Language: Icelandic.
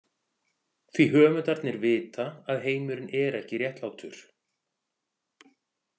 Því höfundarnir vita að heimurinn er ekki réttlátur.